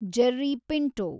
Jerry Pinto